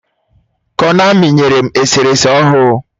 Konami nyere m eserese ahụ.